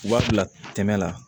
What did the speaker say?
U b'a bila kɛmɛ la